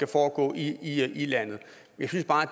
foregå i landet jeg synes bare